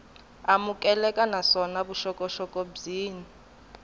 amukeleka naswona vuxokoxoko byin wana